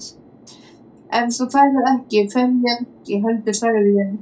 Ef þú ferð ekki, fer ég ekki heldur sagði ég.